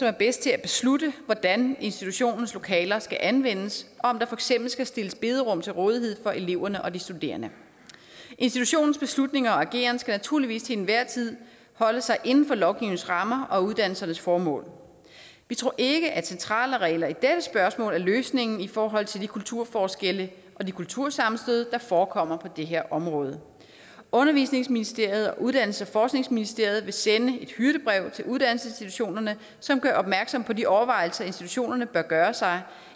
er bedst til at beslutte hvordan institutionens lokaler skal anvendes og om der for eksempel skal stilles bederum til rådighed for eleverne og de studerende institutionens beslutninger og ageren skal naturligvis til enhver tid holde sig inden for lovgivningens rammer og uddannelsernes formål vi tror ikke at centrale regler i dette spørgsmål er løsningen i forhold til de kulturforskelle og de kultursammenstød der forekommer på det her område undervisningsministeriet og uddannelses og forskningsministeriet vil sende et hyrdebrev til uddannelsesinstitutionerne som gør opmærksom på de overvejelser som institutionerne bør gøre sig